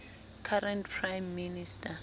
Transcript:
current prime minister